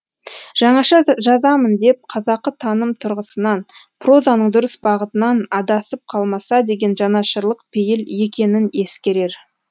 жаңаша жазамын деп қазақы таным тұрғысынан прозаның дұрыс бағытынан адасып қалмаса деген жанашырлық пейіл екенін ескерер